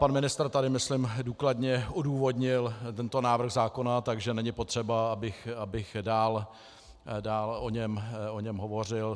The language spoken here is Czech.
Pan ministr tady myslím důkladně odůvodnil tento návrh zákona, takže není potřeba, abych dál o něm hovořil.